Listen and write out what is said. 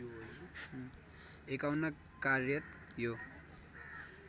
५१ कार्यात् यो